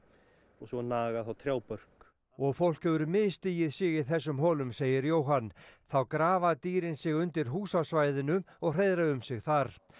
og svo naga þær trjábörk og fólk hefur misstigið sig í þessum holum segir Jóhann þá grafa dýrin sig undir hús á svæðinu og hreiðra um sig þar